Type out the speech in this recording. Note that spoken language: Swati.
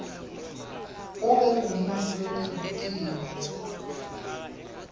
ube ngumuntfu lonebuciko